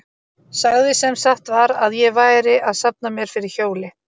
Sagði sem satt var að ég væri að safna mér fyrir hjóli.